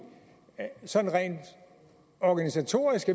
sådan rent organisatorisk